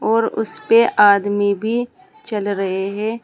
और उसे पे आदमी भी चल रहे हैं।